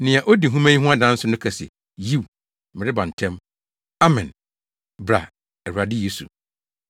Nea odi nhoma yi ho adanse no ka se, “Yiw! Mereba ntɛm!” Amen. Bra, Awurade Yesu!